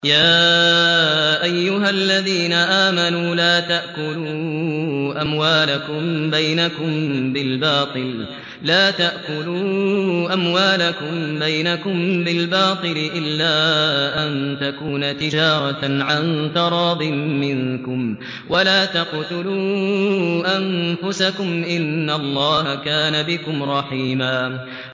يَا أَيُّهَا الَّذِينَ آمَنُوا لَا تَأْكُلُوا أَمْوَالَكُم بَيْنَكُم بِالْبَاطِلِ إِلَّا أَن تَكُونَ تِجَارَةً عَن تَرَاضٍ مِّنكُمْ ۚ وَلَا تَقْتُلُوا أَنفُسَكُمْ ۚ إِنَّ اللَّهَ كَانَ بِكُمْ رَحِيمًا